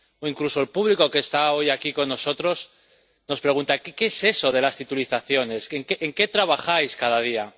Incluso el público que está hoy aquí con nosotros nos pregunta qué es eso de las titulizaciones, o en qué trabajamos cada día.